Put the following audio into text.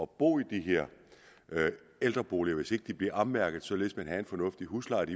bo i de her ældreboliger hvis ikke de bliver ommærket således at huslejen